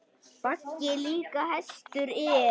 Baggi líka hestur er.